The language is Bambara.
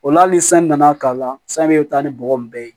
Ola hali ni san nana k'a la sanu bɛ taa ni bɔgɔ in bɛɛ ye